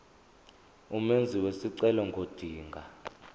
umenzi wesicelo ngodinga